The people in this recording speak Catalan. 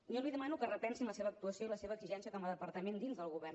jo li demano que repensin la seva actuació i la seva exigència com a departament dins del govern